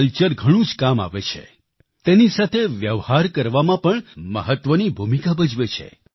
culture ઘણું જ કામ આવે છે તેની સાથે વ્યવહાર કરવામાં પણ મહત્વની ભૂમિકા ભજવે છે